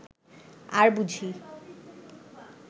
আর বুঝি